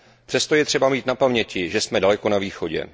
Přesto je třeba mít na paměti, že jsme daleko na východě.